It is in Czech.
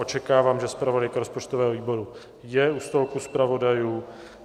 Očekávám, že zpravodajka rozpočtového výboru je u stolku zpravodajů.